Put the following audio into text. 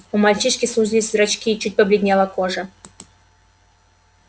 у мальчишки сузились зрачки чуть побледнела кожа